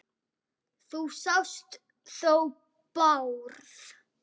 Þú sást þó Bárð?